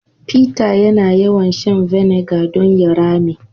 Peter yana yawan shan " vinegar " don ya rame.